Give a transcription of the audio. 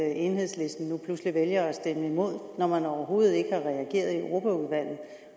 at enhedslisten nu pludselig vælger at stemme imod når man overhovedet ikke har reageret i europaudvalget